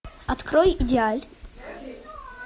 открой идеаль